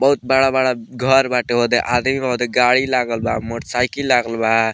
बहुत बड़ा-बड़ा घर बाटे ओदे आदमी के गाड़ी लागल बा मोटरसाइकिल लागल बा।